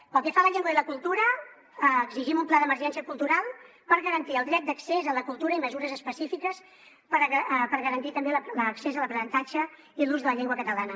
pel que fa a la llengua i la cultura exigim un pla d’emergència cultural per garantir el dret d’accés a la cultura i mesures específiques per garantir també l’accés a l’aprenentatge i l’ús de la llengua catalana